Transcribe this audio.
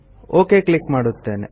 okay click ಮಾಡುತ್ತೇನೆ